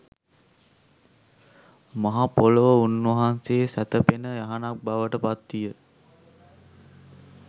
මහ පොළොව උන්වහන්සේ සැතපෙන යහනක් බවට පත්විය.